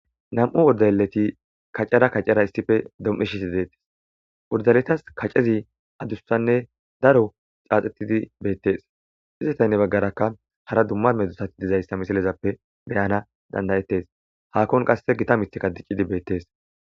Nam'u uddayeleti kacara kacara issife dom'ishisi deettes urdaletas kacezi adussanne daro caaxetidi beettes iztetaynne baggarakka hara dumma medzusati dizayssa misilezappe beyana dandayetes hakkon qasse gita mitika diccidi beettees.